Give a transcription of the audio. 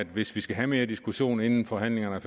hvis vi skal have mere diskussion inden forhandlingerne er